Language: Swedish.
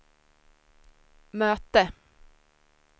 möte